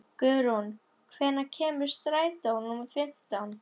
Guðrún, hvenær kemur strætó númer fimmtán?